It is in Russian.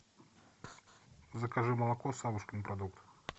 закажи молоко савушкин продукт